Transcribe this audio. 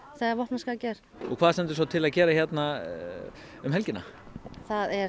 þegar vopnaskakið er og hvað stendur svo til að gera um helgina það er